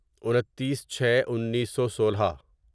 انتیس چھے انیسو سولہ